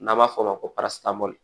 N'an b'a fɔ o ma ko parasitu